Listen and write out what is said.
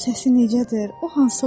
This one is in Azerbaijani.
Onun səsi necədir?